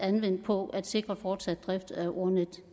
anvendt på at sikre fortsat drift af ordnetdk